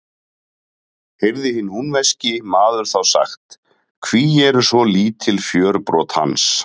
Heyrði hinn húnvetnski maður þá sagt: Hví eru svo lítil fjörbrot hans?